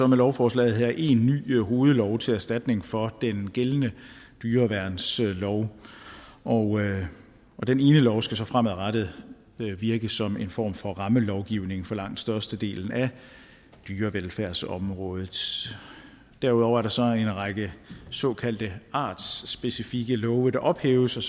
med lovforslaget her én ny hovedlov til erstatning for den gældende dyreværnslov og den ene lov skal så fremadrettet virke som en form for rammelovgivning for langt størstedelen af dyrevelfærdsområdet derudover er der så en række såkaldte artsspecifikke love der ophæves og